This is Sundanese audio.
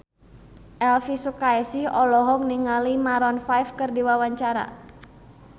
Elvi Sukaesih olohok ningali Maroon 5 keur diwawancara